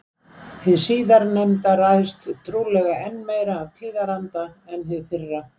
Hið síðarnefnda ræðst trúlega enn meira af tíðaranda en hið fyrra.